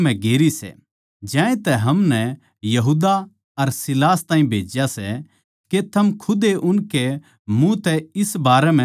ज्यांतै हमनै यहूदा अर सीलास ताहीं भेज्या सै के थम खुद उनकै ए मुँह तै इस बारें म्ह सुण सको